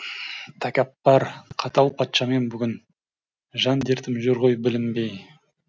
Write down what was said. тәкаппар қатал патшамын бүгін жан дертім жүр ғой білінбей